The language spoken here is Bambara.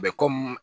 Bɛ komi